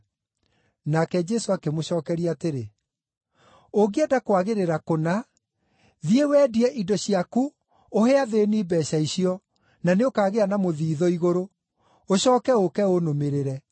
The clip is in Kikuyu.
Nake Jesũ akĩmũcookeria atĩrĩ, “Ũngĩenda kwagĩrĩra kũna, thiĩ wendie indo ciaku ũhe athĩĩni mbeeca icio, na nĩũkagĩa na mũthiithũ igũrũ. Ũcooke ũũke ũnũmĩrĩre.”